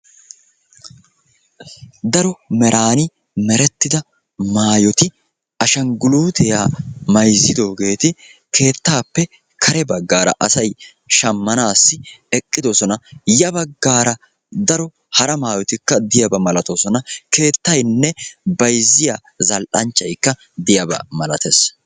daro meran merettida maayoti ashsanggulutiyaa mayzzidoogeeti keettappe kare baggara asay shammanassi eqqidoosona; ya baggara daro hara maayotikka eqqidabaa malatees; keettaynne bayzziya zal'anchchaykka diyaaba maalatees.